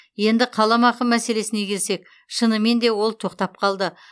енді қаламақы мәселесіне келсек шынымен де ол тоқтап қалды